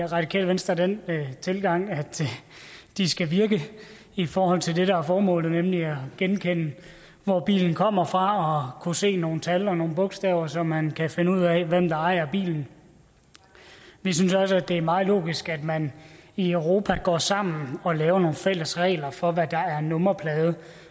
radikale venstre den tilgang at de skal virke i forhold til det der er formålet nemlig at genkende hvor bilen kommer fra og se nogle tal og nogle bogstaver så man kan finde ud af hvem der ejer bilen vi synes også det er meget logisk at man i europa går sammen og laver nogle fælles regler for hvad der er en nummerplade